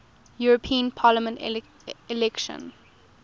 european parliament election